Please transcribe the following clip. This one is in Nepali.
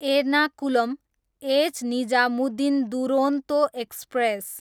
Ernakulam, H Nizamuddin Duronto express